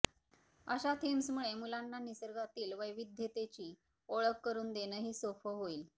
अशा थीम्समुळे मुलांना निसर्गातील वैविध्यतेची ओळख करून देणंही सोपं होईल